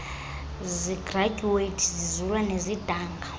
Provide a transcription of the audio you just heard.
zigradyuwethi zizula nezidanga